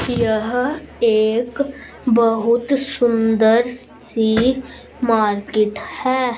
यह एक बहुत सुंदर सी मार्केट है।